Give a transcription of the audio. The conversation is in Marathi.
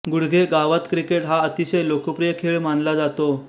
गुडघे गावात क्रिकेट हा अतिशय लोकप्रिय खेळ मानला जातो